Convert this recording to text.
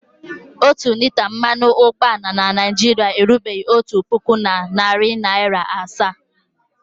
Otu lita mmanụ ụgbọala na Naịjirịa erubeghi otu puku na narị naịra asaa.